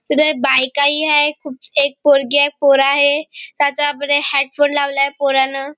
बायका ही आहे खूप एक पोरगी आहे एक पोर आहे ह्याच्या मध्ये हेडफोन लावलाय पोरानं.